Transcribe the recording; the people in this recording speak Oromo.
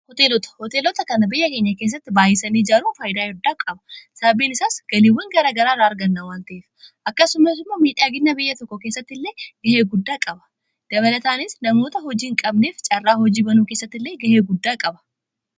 Hoteelota: Hoteelota kana biyya keenya kessatti baayyisanii ijaaruu faayida addaa qaba. Sababiin isaas galiiwwan gara garaaraa arganna akkasumas miidhaagina biyya tokko keessatti illee gahee guddaa qaba. Dabalataanis namoota hojii hin qabneef caarraa hojii banuu keessatti illee gahee guddaa qaba.